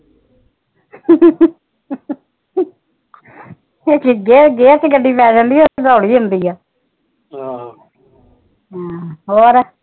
ਗਿਆ ਗੱਡੀ ਪੈਦਲੀ ਦੇੜੀ ਹੁੰਦੀ ਆ ਆਹੋ ਹਮ ਹੋਰ